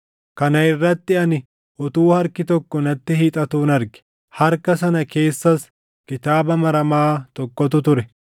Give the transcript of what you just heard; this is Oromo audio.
Kana irratti ani utuu harki tokko natti hiixatuun arge. Harka sana keessas kitaaba maramaa tokkotu ture;